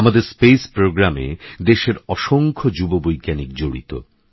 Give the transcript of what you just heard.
আমাদেরস্পেসপ্রোগ্রামেদেশেরঅসংখ্যযুববৈজ্ঞানিকজড়িত